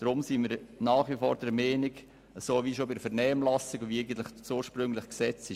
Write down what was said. Deshalb sind wir nach wie vor der Meinung, dass wir einen Spielraum von 34 bis 60 Prozent offenlassen sollten.